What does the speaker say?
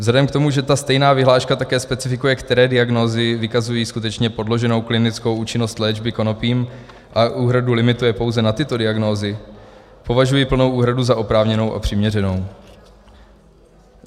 Vzhledem k tomu, že ta stejná vyhláška také specifikuje, které diagnózy vykazují skutečně podloženou klinickou účinnost léčby konopím, a úhradu limituje pouze na tyto diagnózy, považuji plnou úhradu za oprávněnou a přiměřenou.